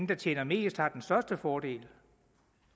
der tjener mest har den største fordel